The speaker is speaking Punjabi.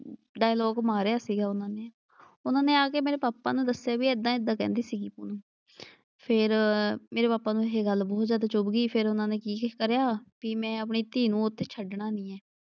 ਡਾਇਲੌਗ ਮਾਰਿਆ ਸੀਗਾ ਉਨ੍ਹਾਂ ਨੇ। ਉਨ੍ਹਾਂ ਨੇ ਆ ਕੇ ਮੇਰੇ ਪਾਪਾ ਨੂੰ ਦੱਸਿਆ ਬਈ ਏਦਾਂ ਏਦਾਂ ਕਹਿੰਦੀ ਸੀਗੀ ਕੁੜੀ। ਫਿਰ ਮੇਰੇ ਨੂੰ ਇਹ ਗੱਲ ਬਹੁਤ ਜਿਆਦਾ ਚੁੱਭ ਗਈ ਫਿਰ ਉਨ੍ਹਾਂ ਕੀ ਕਰਿਆ ਬਈ ਮੈਂ ਆਪਣੀ ਧੀ ਨੂੰ ਉੱਥੇ ਛੱਡਣਾ ਨਈਂ ਐ।